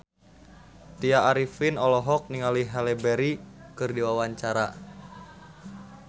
Tya Arifin olohok ningali Halle Berry keur diwawancara